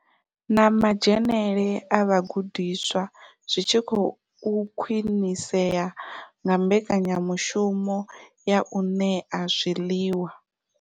Na madzhenele a vhagudiswa zwitshi khou khwinisea nga mbekanyamushumo ya u ṋea zwiḽiwa.